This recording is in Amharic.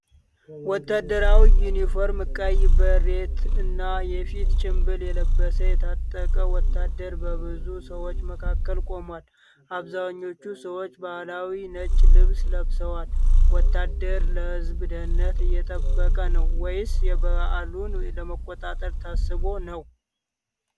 ወታደራዊ ዩኒፎርም፣ ቀይ ቤሬት እና የፊት ጭንብል የለበሰ የታጠቀ ወታደር በብዙ ሰዎች መካከል ቆሟል፤ አብዛኞቹ ሰዎች ባህላዊ ነጭ ልብስ ለብሰዋል። ወታደር ለህዝቡ ደህንነት እየጠበቀ ነው ወይስ በዓሉን ለመቆጣጠር ታስቦ ነው?